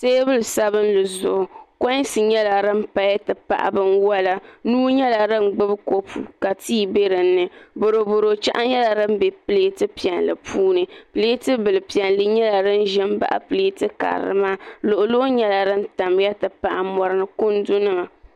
teebuli sabinli zuɣu konsi nyɛla din paya n ti pahi bin wala Nuu nyɛla din gbubi kopu ka tii bɛ dinni boroboro cheɣu nyɛla din bɛ pileeti piɛlli puuni leeti bil piɛli nyɛla din ʒin baɣi pileeti piɛlli maa luɣu luɣu nyɛla din baɣi nyɛla n pahi kundinima